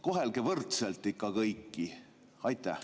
Kohelge ikka võrdselt kõiki!